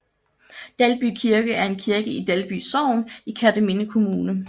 Dalby Kirke er en kirke i Dalby Sogn i Kerteminde Kommune